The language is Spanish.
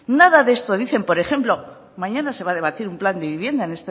nada de esto dicen por ejemplo mañana se va a debatir un plan de vivienda en